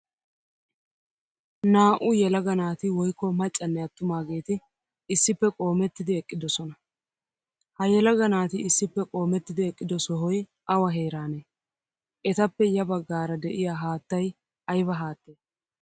Naa'u yelaga naati woykko maccane atumageti issippe qoomettidi eqqidosona. Ha yelaga naati issippe qoomettidi eqqido sohoy awa heerane? Etappe ya baggaara de'iya haattaay ayba haattee?